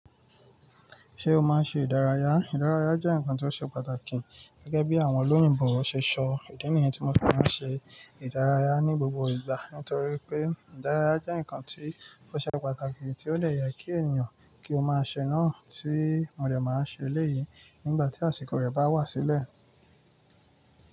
Ṣé o máa ń ṣe ìdárayá? Ìdárayá jẹ́ nǹkan tó ṣe pàtàkì. Gẹ́gẹ́ bí àwọn olóyìnbo wọ́n ṣe sọ, ìdí nìyẹn tí mọ̀ fi máa ń ṣe ìdárayá ní gbogbo ìgbà. Nítorí pé ìdárayá jẹ́ nǹkan tó ṣe pàtàkì tí ó dẹ̀ jẹ kí ènìyàn kí ó máa ṣẹ náà tí mò dẹ̀ máa ń ṣe eléyìí nígbà tí àsìkò rẹ̀ bá wá sílẹ̀.